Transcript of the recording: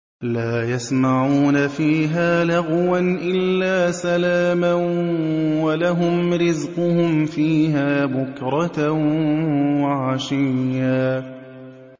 لَّا يَسْمَعُونَ فِيهَا لَغْوًا إِلَّا سَلَامًا ۖ وَلَهُمْ رِزْقُهُمْ فِيهَا بُكْرَةً وَعَشِيًّا